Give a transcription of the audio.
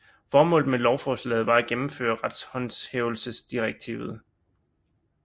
Formålet med lovforslaget var at gennemføre retshåndhævelsesdirektivet